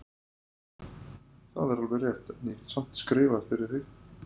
Það er alveg rétt, en ég get samt skrifað fyrir þig.